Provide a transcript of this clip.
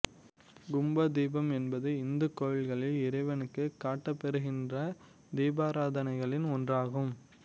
கும்ப தீபம் என்பது இந்துக் கோவில்களில் இறைவனுக்கு காட்டப்பெறுகின்ற தீபாராதனைகளில் ஒன்றாகும்